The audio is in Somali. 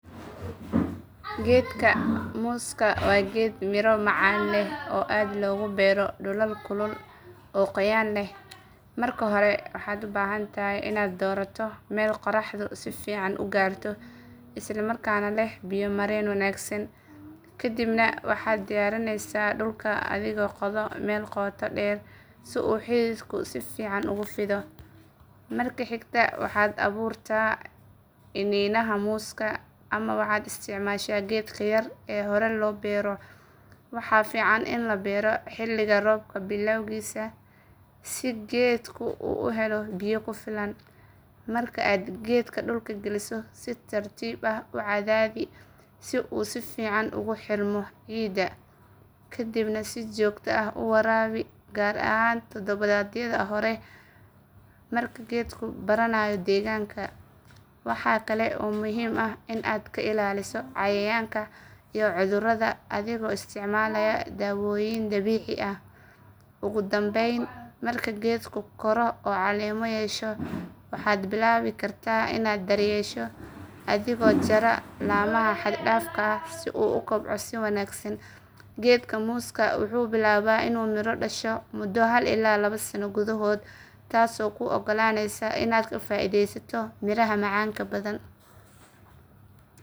Geedka muska waa geed miro macaan leh oo aad loogu beero dhulal kulul oo qoyaan leh. Marka hore, waxaad u baahan tahay inaad doorato meel qoraxdu si fiican u gaarto isla markaana leh biyo mareen wanaagsan. Ka dibna waxaad diyaarinaysaa dhulka adigoo qoda meel qoto dheer si uu xididku si fiican ugu fido. Marka xigta, waxaad abuurtaa iniinaha muska ama waxaad isticmaashaa geedka yar ee hore loo beero. Waxaa fiican in la beero xilliga roobka bilowgiisa si geedku u helo biyo ku filan. Marka aad geedka dhulka geliso, si tartiib ah u cadaadi si uu si fiican ugu xirmo ciidda. Kadibna si joogto ah u waraabi, gaar ahaan toddobaadyada hore marka geedku baranayo deegaanka. Waxa kale oo muhiim ah in aad ka ilaaliso cayayaanka iyo cudurrada adigoo isticmaalaya daawooyin dabiici ah. Ugu dambeyn, marka geedku koro oo caleemo yeesho, waxaad bilaabi kartaa inaad daryeesho adigoo jara laamaha xad dhaafka ah si uu u kobco si wanaagsan. Geedka muska wuxuu bilaabaa inuu miro dhasho muddo hal ilaa laba sano gudahood, taasoo kuu ogolaaneysa inaad ka faa’iidaysato miraha macaanka badan.